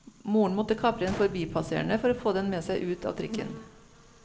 Moren måtte kapre en forbipasserende for å få den med seg ut av trikken.